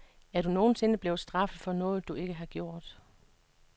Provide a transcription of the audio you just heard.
Er du nogen sinde blevet straffet for noget, du ikke har gjort?